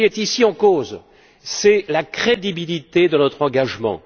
Ce qui est ici en cause, c'est la crédibilité de notre engagement.